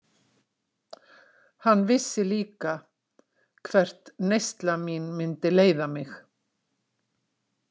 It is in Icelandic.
Hann vissi líka hvert neysla mín myndi leiða mig.